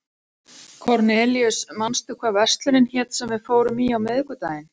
Kornelíus, manstu hvað verslunin hét sem við fórum í á miðvikudaginn?